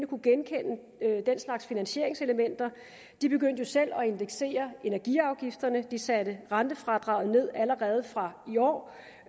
kunne genkende den slags finansieringselementer de begyndte jo selv at indeksere energiafgifterne de satte rentefradraget ned allerede fra i år